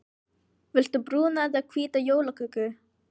Viltu brúna eða hvíta jólaköku?